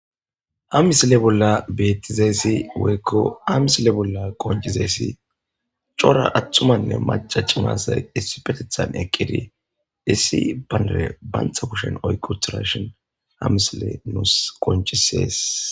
Ha missile bola betizaysi woyko ha missile bola qonc'izayasi c'ora atumane mac'a c'ora asay issipetetan eqidi issi bandire banta kushen oyki utirashin ha missile nus qonc'ises.